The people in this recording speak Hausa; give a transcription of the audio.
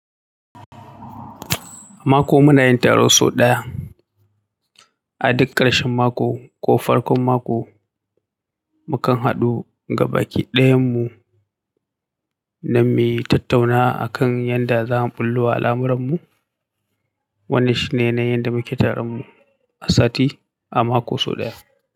Mako muna yin taro sau ɗaya. A duk ƙarshen mako ko farkon mako mukan haɗu gabaki dayan mu dan mu tattauna akan yanda zamu ɓullowa al'amuran mu wannan shine yanayin yanda muke taron mu a sati, a mako sau ɗaya.